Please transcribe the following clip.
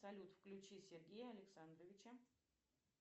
салют включи сергея александровича